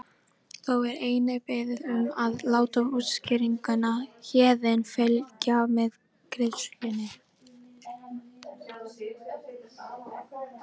Þá er einnig beðið um að láta útskýringuna Héðinn fylgja með greiðslunni.